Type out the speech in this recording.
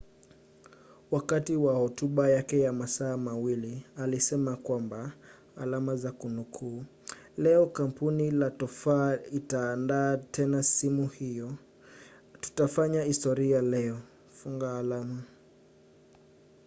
wakati wa hotuba yake ya masaa 2 alisema kwamba leo kampuni la tofaa itaandaa tena simu hiyo tutafanya historia leo